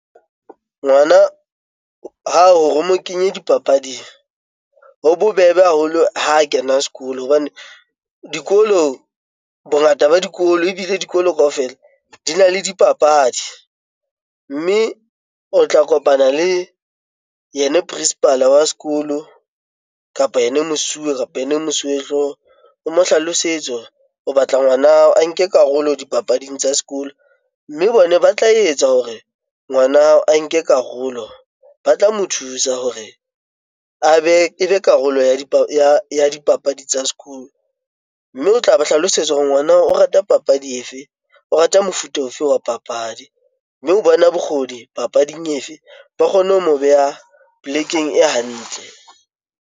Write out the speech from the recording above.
Ngwana hore o mo kenye dipapading, ho bobebe haholo ha kena sekolo. Hobane dikolo, bongata ba dikolo ebile dikolo kaofela dina le dipapadi. Mme o tla kopana le yena principal-a wa sekolo, kapa yena mosuwe kapa ene mosuwehloho. O mo hlalosetse o batla ngwana hao a nke karolo dipapading tsa sekolo. Mme bona ba tla etsa hore ngwana hao a nke karolo, ba tla mo thusa hore a be, e be karolo ya dipapadi tsa sekolo. Mme o tla ba hlalosetsa hore ngwana o rata papadi efe? O rata mofuta ofe wa papadi? Mme o bona bokgoni papading efe? Ba kgone ho mo beha polekeng e hantle.